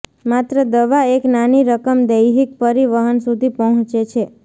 માત્ર દવા એક નાની રકમ દૈહિક પરિવહન સુધી પહોંચે છે